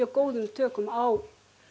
góðum tökum á